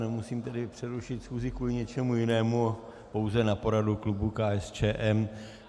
Nemusím tedy přerušit schůzi kvůli něčemu jinému, pouze na poradu klubu KSČM.